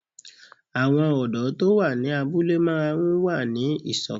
Àwọn ọ̀dọ́ tó wà ní abúlé máa n wà ní ìṣọ̀kan